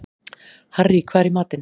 Harrý, hvað er í matinn?